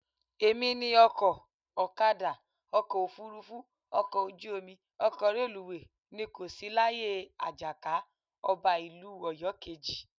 Èmi ni ọkọ̀, ọ̀kadà, ọkọ̀ òfuurufú, ọkọ ojú omi, ọkọ̀ reluwé, ni kò sí láyé Àjàká, ọba ìlú Ọ̀yọ́ kejì